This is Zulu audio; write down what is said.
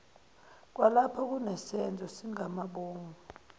kwalapho kunesenzo sangamabomu